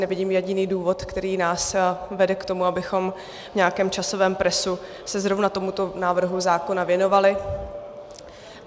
Nevidím jediný důvod, který nás vede k tomu, abychom v nějakém časovém presu se zrovna tomuto návrhu zákona věnovali.